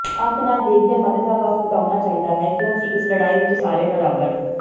ਅੱਖ ਨਾਲ ਦੇਖਦਿਆਂ ਮਦਦ ਦਾ ਹੱਥ ਵਧਾਉਣਾ ਚਾਹੀਦਾ ਹੈ ਕਿਉਂਕਿ ਇਸ ਲੜਾਈ ਵਿੱਚ ਸਾਰੇ ਬਰਾਬਰ